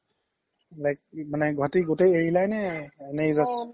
like মানে গুৱাহাতি গুতেই এৰিলা নে এনেই just